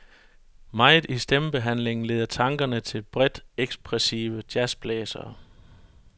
Meget i stemmebehandlingen leder tankerne til bredt ekspressive jazzblæsere.